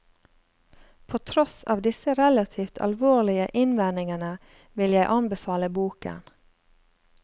På tross av disse relativt alvorlige innvendingene vil jeg anbefale boken.